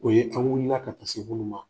O ye an' wulila ka taa se munnu ma.